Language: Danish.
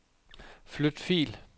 Flyt fil.